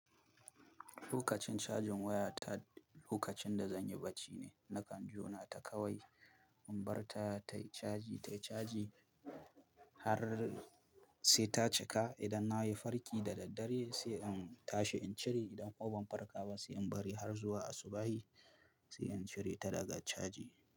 Lokacin cajin waya ta lokacin da zan yi bacci ne. Nakan jona ta kawai in bar ta tayi caji tayi caji har sai ta cika. Idan na yi farki da daddare sai in tashi in cire. Idan koban farka ba sai in bari har zuwa asubahin sai in cire ta daga caji.